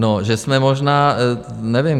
No, že jsme možná, nevím...